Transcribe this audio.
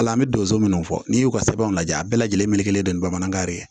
Ala an bɛ donso minnu fɔ n'i y'u ka sɛbɛnw lajɛ a bɛɛ lajɛlen melekelen don bamanankan yɛrɛ ye